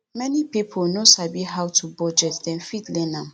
many pipo no sabi how to bugdet dem fit learn am